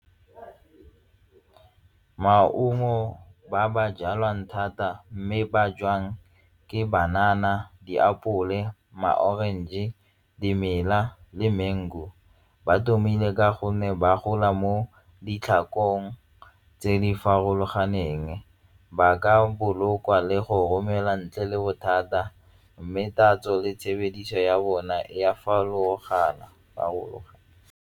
Maungo ba ba jalwang thata mme ba jwang ke banana, diapole, ma-orange, dimela le mango. Ba tlhomile ka gonne ba gola mo ditlhakong tse di farologaneng ba ka bolokwa le go romela ntle le bothata mme tatso le tshebediso ya bona e a farologana .